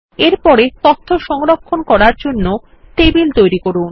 এর পরে তথ্য সংরক্ষণ করার জন্যে টেবিল তৈরি করুন